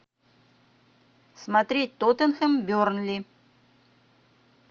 смотреть тоттенхэм бернли